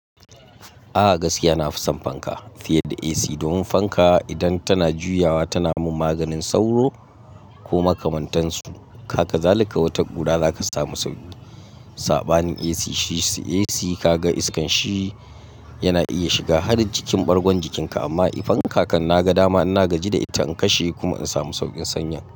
A'a gaskiya na fi son fanka fiye da AC. Domin fanka idan tana juyawa tana min maganin sauro ko makamantansu. Haka zalika wata ƙura zaka samu sauki. Saɓanin AC, shi AC kaga iskan shi yana iya shiga har jikin ɓargo jikinka amma i fanka kan na ga dama ina gaji da ita in kashe kuma in samu sauƙin sanyan.